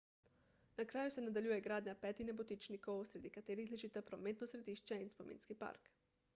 na kraju se nadaljuje gradnja petih nebotičnikov sredi katerih ležita prometno središče in spominski park